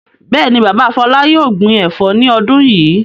Bẹ́ẹ̀ ni, bàbá Fọlá yóò gbin ẹ̀fọ́ ní ọdún yìí.